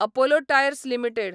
Apollo tyres limited